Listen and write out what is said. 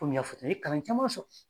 Komi n y'a fɔ ,n ye kalan caman